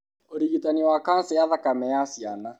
ũrigitani wa kanca ya thakame ya ciana.